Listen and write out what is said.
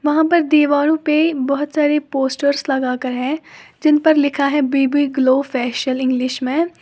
वहां पर दीवारों पे बहुत सारी पोस्टर्स लगाकर है जिन पर लिखा है B B glow facial English में।